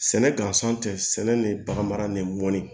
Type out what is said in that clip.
Sɛnɛ gansan tɛ sɛnɛ ni baganmara ni mɔni